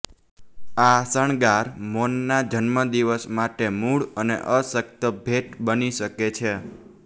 આ શણગાર મોમના જન્મદિવસ માટે મૂળ અને અશક્ત ભેટ બની શકે છે